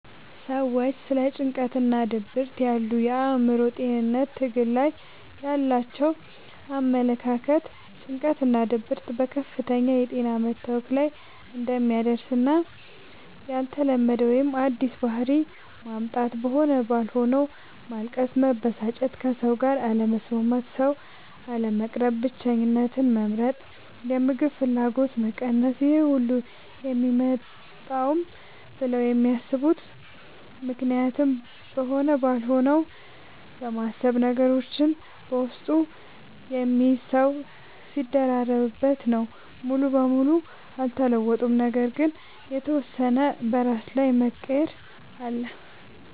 ሰዎች ስለ ጭንቀትናድብርት ያሉ የአእምሮ ጤንነት ትግል ላይ ያላቸው አመለካከት ጭንቀትናድብርት ከፍተኛ የጤና መታወክ ላይ እንደሚያደርስና ያልተለመደ ወይም አዲስ ባህሪ ማምጣት(በሆነ ባልሆነዉ ማልቀስ፣ መበሳጨት፣ ከሰዉጋር አለመስማማት፣ ሰዉ፣ አለመቅረብ፣ ብቸኝነትን መምረጥ፣ የምግብ ፍላገጎት መቀነስ....) ይሄሁሉ የሚመጣውም ብለው የሚያስቡት ምክንያትም በሆነ ባልሆነው በማሰብ፤ ነገሮችን በውስጡ የሚይዝ ሰዉ ሲደራረብበት... ነው። ሙሉ በሙሉ አልተለወጡም ነገር ግን የተወሰነ በራስ ላይ መቀየር አለ።